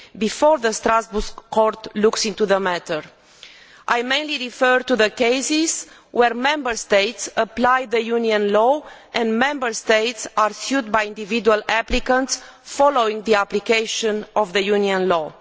before the Strasbourg Court looks into the matter. I mainly refer to the cases where Member States apply EU law and Member States are sued by individual applicants following the application of that EU law.